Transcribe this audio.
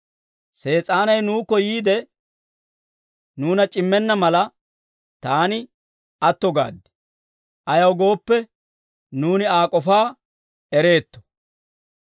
Sees'aanay nuukko yiide, nuuna c'immenna mala, taani aatto gaad; ayaw gooppe, nuuni Aa k'ofaa ereetto.